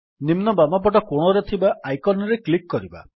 ନିମ୍ନ ବାମ ପଟ କୋଣରେ ଥିବା ଆଇକନ୍ ରେ କ୍ଲିକ୍ କରିବା